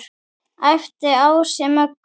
æpti Ási Möggu.